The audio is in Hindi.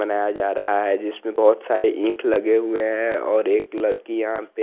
बनाया जा रहा है जिसपे बहोत सारे इक लगे हुए है और एक लरकि की यहा पे--